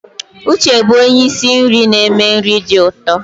Uche bụ onye isi nri na-eme nri dị ụtọ.